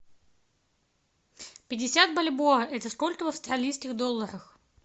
пятьдесят бальбоа это сколько в австралийских долларах